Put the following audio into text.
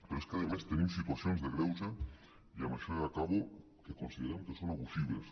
però és a més tenim situacions de greuge i amb això ja acabo que considerem que són abusives